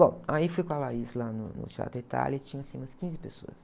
Bom, aí fui com a lá no, no Teatro Itália e tinha, assim, umas quinze pessoas.